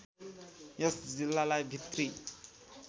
यस जिल्लालाई भित्री